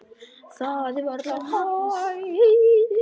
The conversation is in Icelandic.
Það er varla hægt.